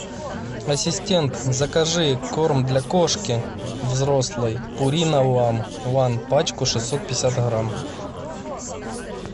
ассистент закажи корм для кошки взрослой пурина ван пачку шестьсот пятьдесят грамм